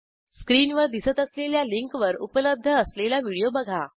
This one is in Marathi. स्क्रीनवर दिसत असलेल्या लिंकवर उपलब्ध असलेला व्हिडिओ बघा